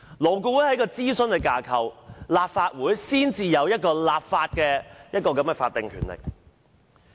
勞顧會只是諮詢機構，立法會才具有立法的法定權力。